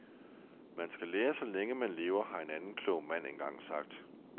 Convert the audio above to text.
Man skal lære så længe man lever, har en anden klog mand engang sagt.